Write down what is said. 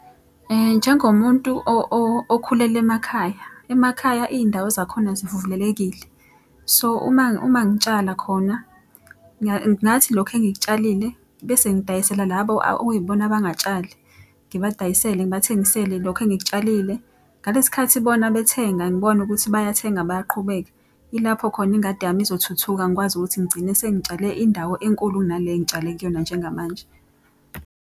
Njengomuntu okhulele emakhaya, emakhaya iy'ndawo zakhona zivulelekile. So, uma uma ngitshala khona, ngathi lokhu engikutshalile bese ngidayisela labo okuyibona abangatshali. Ngibadayisele ngibathengisele lokhu engikutshalile. Ngalesi khathi bona bethenga, ngibona ukuthi bayathenga bayaqhubeka. Ilapho khona ingadi yami izothuthuka ngikwazi ukuthi ngigcine sengitshale indawo enkulu kunale engitshale kuyona njengamanje.